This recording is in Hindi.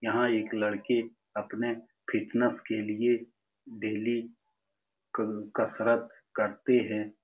यहाँ एक लड़की अपने फिटनेस के लिए डेली कसरत करती है।